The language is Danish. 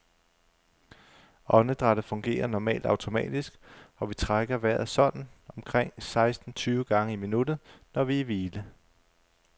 Åndedrættet fungerer normalt automatisk, og vi trækker vejret sådan omkring seksten tyve gange i minuttet, når vi er i hvile.